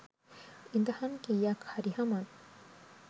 ඉදහන් කීයක් හරි හමන්